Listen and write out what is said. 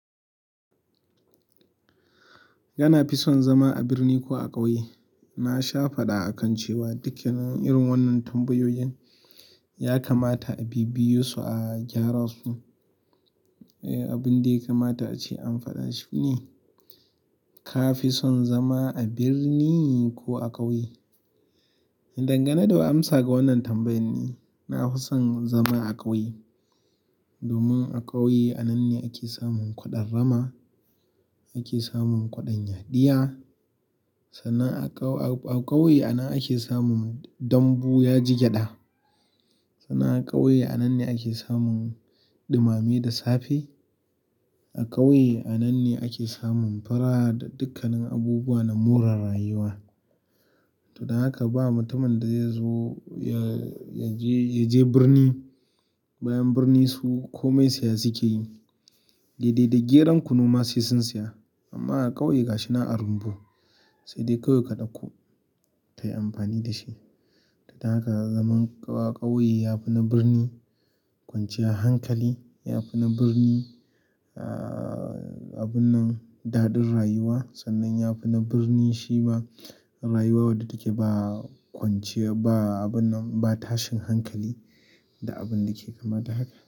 Yana fi son zama a birni ko a ƙauye? Na sha faɗa akan cewa dukanin irin wannan tambayoyin ya kamata a bibiye su, a gyara su. Abin da ya kamata ace an faɗa shi ne ka fison zama a birni ko a ƙauye? Dangane da amsa ga wannan tambayan ni, na fi son zama a ƙauye. Domin a ƙauye a nan ne ake samun kwaɗon rama, ake samun kwaɗon yadiya. Sannan a ƙau-- a ƙauye a nan ake samun dambu ya ji gyaɗa. Sannan a ƙauye a nan ne ake samun ɗumame da safe. A ƙauye a nan ne ake samun pura da dukkanin abubuwa na more rayuwa. To don haka ba mutumin da zai zo ya-ya je, ya je birni, bayan birni su komai saya suke yi. Daidai da geron kunu ma sai sun saya. Amma a ƙauye ga shi nan a rumbu. Sai dai ƙawai ka ɗauko kayi amfani da shi. To don haka zaman ƙau-ƙauye ya fi na birni kwanciyar hankali, ya fi na birni, ah, abun nan daɗin rayuwa. Sannan ya fi na birni shi ma rayuwa wadda take ba kwanciya, ba abun nan, ba tashin hankali da abin da ke kama da haka.